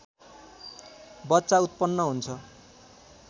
बच्चा उत्पन्न हुन्छ